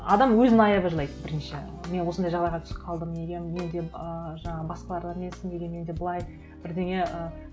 адам өзін аяп жылайды бірінші мен осындай жағдайға түсіп қалдым неге менде ыыы жаңағы басқалар емес неге менде былай бірдеңе ы